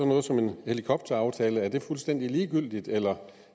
noget som en helikopteraftale er fuldstændig ligegyldigt eller